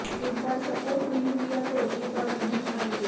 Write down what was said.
इस बार सपोर्ट नहीं किया तो अगली बार नहीं आएंगे